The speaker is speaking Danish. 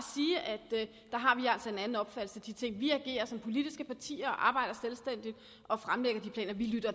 en anden opfattelse af de ting vi agerer som politisk parti og arbejder selvstændigt og fremlægger planer vi lytter